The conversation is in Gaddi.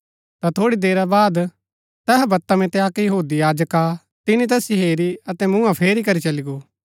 ता थोड़ी देरा बाद तैहा वता मितै अक्क यहूदी याजक आ तिनी तैसिओ हेरु अतै मूँहा फेरी करी चली गो